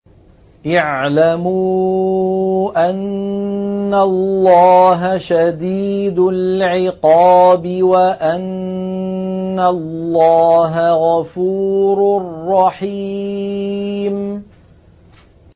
اعْلَمُوا أَنَّ اللَّهَ شَدِيدُ الْعِقَابِ وَأَنَّ اللَّهَ غَفُورٌ رَّحِيمٌ